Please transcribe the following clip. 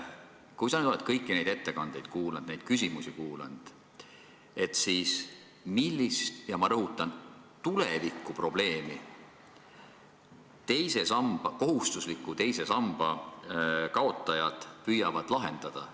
Kui sa nüüd oled kõiki neid ettekandeid ja küsimusi kuulanud, siis millist, ma rõhutan, tulevikuprobleemi kohustusliku teise samba kaotajad püüavad lahendada?